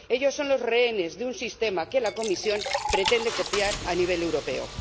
Ellas son los rehenes de un sistema que la Comisión pretende copiar a nivel europeo.